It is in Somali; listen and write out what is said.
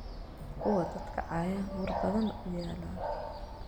Kuwa dadhka cayan war badan uyala.